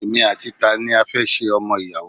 Èmi àti tani a fẹ́ ṣe ọmọ ìyàwó!